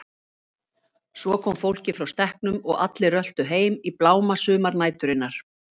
Svo kom fólkið frá stekknum og allir röltu heim í bláma sumarnæturinnar.